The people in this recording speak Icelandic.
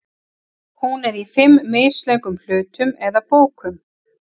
Hún er í fimm mislöngum hlutum eða bókum.